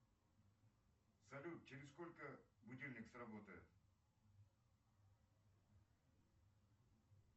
салют через сколько будильник сработает